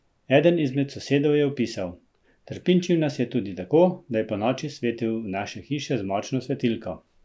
Eden izmed sosedov je opisal: "Trpinčil nas je tudi tako, da je ponoči svetil v naše hiše z močno svetilko.